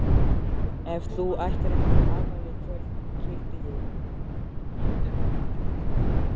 Ef þú ættir ekki afmæli í kvöld kýldi ég þig.